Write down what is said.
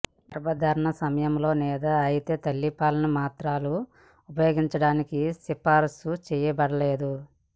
ఇది గర్భధారణ సమయంలో లేదా అయితే తల్లిపాలను మాత్రలు ఉపయోగించడానికి సిఫారసు చేయబడలేదు